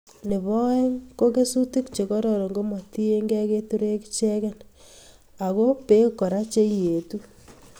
Nebo oeng ko kesutik che kororon komatiekei keturek ichegei ako Bek Kora che ietu